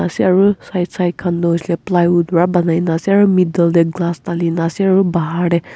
side side khan du huise kuile plywood para banai ase aru middle dey glass dali na ase aru bahar dey.